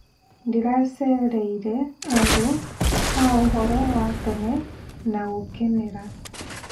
Ndĩracereire handũ ha ũhoro wa tene na gũkenera.